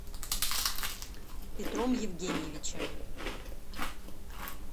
петром евгеньевичем